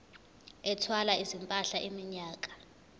ethwala izimpahla iminyaka